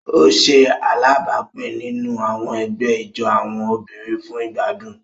O ṣe alábápin nínú àwọn ègbé ijó àwọn obìnrin fún igbadun.